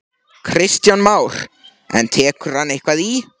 Kristján Már: En tekur hann eitthvað í?